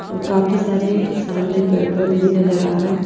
और काफी सारे सामने पेड़-पौधे भी नजर आ रहे हैं।